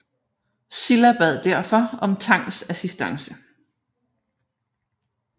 Silla bad derfor om Tangs assistance